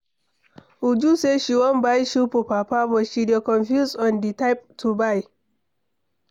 Uju say she wan buy shoe for papa but she dey confused on the type to buy.